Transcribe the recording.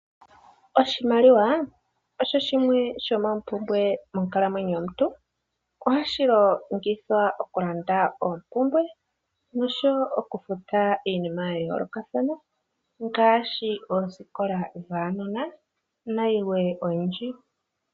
Oshimaliwa osho shimwe shomompumbwe yomonkalamwenyo yomuntu. Ohashi longithwa oku landa oompumbwe noshowo oku futa iinima ya yoolokathana ngaashi oosikola dhaanona nayilwe oyindji.